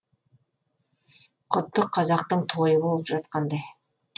құдды қазақтың тойы болып жатқандай